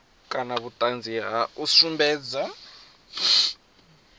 kana vhuṱanzi ha u sumbedza